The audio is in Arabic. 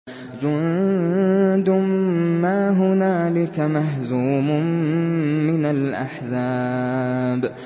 جُندٌ مَّا هُنَالِكَ مَهْزُومٌ مِّنَ الْأَحْزَابِ